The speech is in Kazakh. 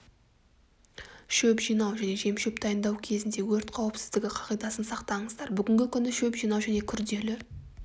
шөп жинау және жем-шөп дайындау кезінде өрт қауіпсіздігі қағидасын сақтаңыздар бүгінгі күні шөп жинау және күрделі